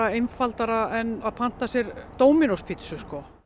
einfaldara en að panta sér Dominos pizzu